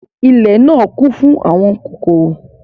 Ìlẹ náa kun fun àwọn kokoro.